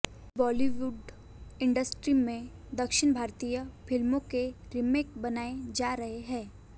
Bollywood industry में दक्षिण भारतीय फिल्मों के रीमेक बनाए जा रहे हैं